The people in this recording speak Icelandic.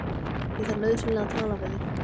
Ég þarf nauðsynlega að tala við þig.